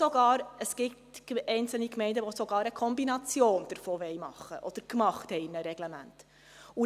Oder: Es gibt einzelne Gemeinde, welche sogar eine Kombination davon machen wollen oder in einem Reglement gemacht haben.